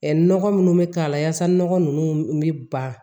Ɛɛ nɔgɔ minnu bɛ k'a la yaasa nɔgɔ ninnu bɛ ban